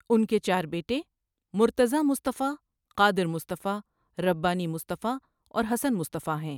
اُن کے چار بیٹے، مرتضیٰ مصطفٰی، قادر مصطفٰی، ربّانی مصطفٰی اور حسن مصطفٰی ہیں۔